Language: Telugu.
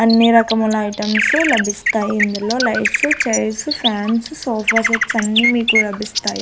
అన్నీ రకముల ఐటమ్సు లభిస్తాయి ఇందులో lights chairs fans sofa sets అన్నీ మీకు లభిస్తాయి.